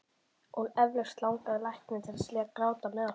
Og eflaust langaði lækninn líka til að gráta með okkur.